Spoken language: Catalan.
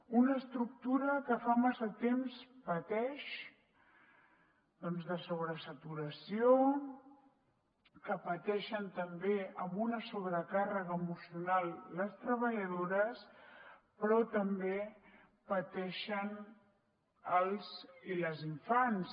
una estructura que fa massa temps que pateix doncs de sobresaturació que pateixen també amb una sobrecàrrega emocional les treballadores però que també pateixen els infants